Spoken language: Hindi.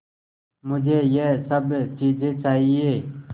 मुझे यह सब चीज़ें चाहिएँ